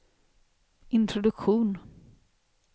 introduktion